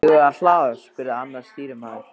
Eigum við að hlaða? spurði annar stýrimaður.